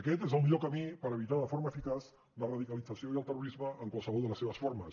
aquest és el millor camí per evitar de forma eficaç la radicalització i el terrorisme en qualsevol de les seves formes